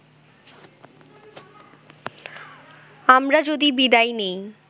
আমরা যদি বিদায় নেই